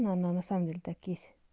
ну она на самом деле так есть